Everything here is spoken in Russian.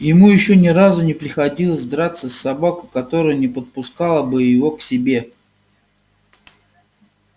ему ещё ни разу не приходилось драться с собакой которая не подпускала бы его к себе